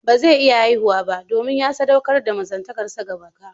Ba zai iya haihuwa ba, domin ya saɗaukar da mazantakarsa ga baka